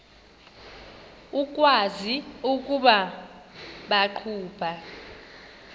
ukwazi ukuba baqhuba